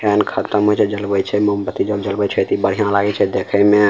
तेल खत्म होइ छे त जलबैय मोमबत्ती त जलवै छे त ई बढ़िया लागे छे देखे में।